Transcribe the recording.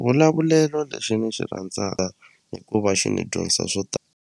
Vulavulelo lexi ni xi rhandzaka i ku va xi ni dyondzisa swo .